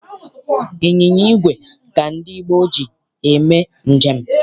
Ịnyịnya igwe ka ndị gboo ji eme njem.